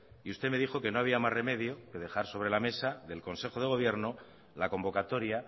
y usted me dijo que no había más remedio que dejar sobre la mesa del consejo de gobierno la convocatoria